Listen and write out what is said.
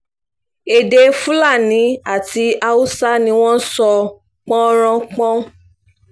èdè fúlàní àti haúsá ni wọ́n ń sọ pọ́n-ọn-ran-pọ́n